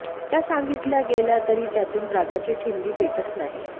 त्या सांगितल्या गेल्या तरी त्यातून रागाची ठिणगी पेटत नाही